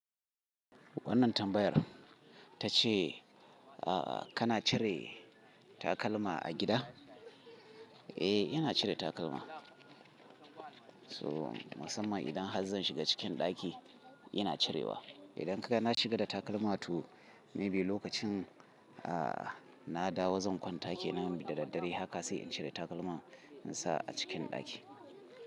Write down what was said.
Wannan tambayar ta ce, a kana cire takalma a gida? Eh, ina cire takalma. So masamman idan har zan shiga cikin ɗaki ina cirewa. Idan kana shiga da takalma to maybe lokacin a na dawo zan kwanta kenan da daddare. Haka sai in cire takalma in sa a cikin ɗaki.